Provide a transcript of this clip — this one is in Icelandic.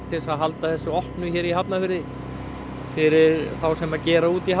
til þess að halda þessu opnu hér í Hafnarfirði fyrir þá sem gera út í